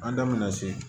An da mɛna se